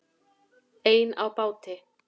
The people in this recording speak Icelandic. Ein á báti